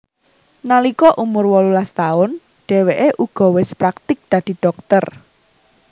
Nalika umur wolulas taun dheweke uga wis praktik dadi dhokter